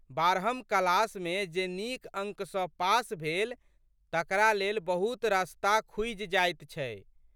बारहम क्लासमे जे नीक अंक सँ पास भेल तकरा लेल बहुत रस्ता खुजि जाइत छै।